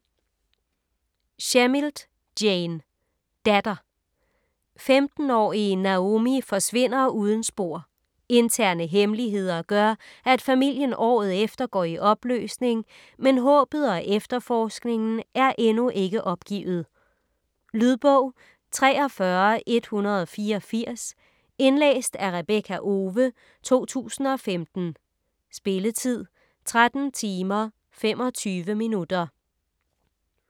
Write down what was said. Shemilt, Jane: Datter 15-årige Naomi forsvinder uden spor. Interne hemmeligheder gør, at familien året efter går i opløsning, men håbet og efterforskningen er endnu ikke opgivet. Lydbog 43184 Indlæst af Rebekka Owe, 2015. Spilletid: 13 timer, 25 minutter.